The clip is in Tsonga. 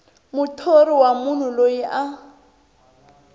muthori wa munhu loyi a